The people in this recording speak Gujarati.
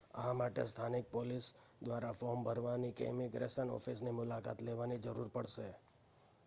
આ માટે સ્થાનિક પોલીસ દ્વારા ફૉર્મ ભરવાની કે ઇમિગ્રેશન ઓફિસની મુલાકાત લેવાની જરૂર પડશે